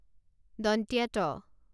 ট